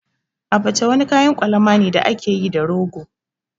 Abacha wani kayan kwalama ne da ake yi da rogo.